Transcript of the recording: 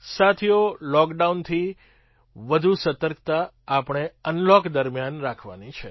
સાથીઓ લૉકડાઉનથી વધુ સતર્કતા આપણે અનલૉક દરમિયાન રાખવાની છે